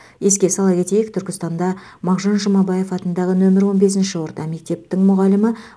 еске сала кетейік түркістанда мағжан жұмабаев атындағы нөмірі он бесінші орта мектептің мұғалімі